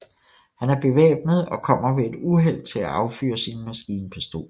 Han er bevæbnet og kommer ved et uheld til at affyre sin maskinpistol